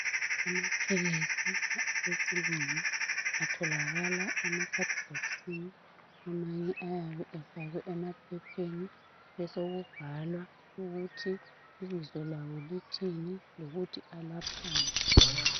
Amaphilisi esilungu atholakala emabhokisini amanye ayabe efakwe emaphepheni besokubhalwa ukuthi ibizo lawo lithini lokuthi alaphani.